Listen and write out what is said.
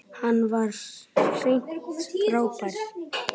Hann var hreint frábær.